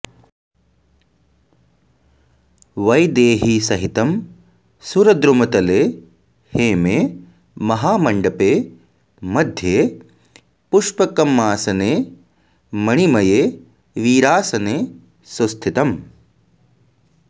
वैदेहीसहितं सुरद्रुमतले हेमे महामण्डपे मध्ये पुष्पकमासने मणिमये वीरासने सुस्थितम्